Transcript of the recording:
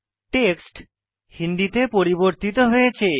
text হিন্দিতে পরিবর্তিত হয়েছে